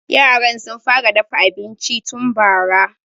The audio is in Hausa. Yaran sun fara dafa abinci tun bara.